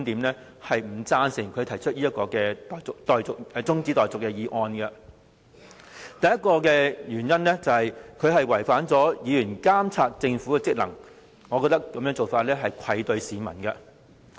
第一個原因，中止待續議案違反議員監察政府的職能。我認為這種做法愧對市民。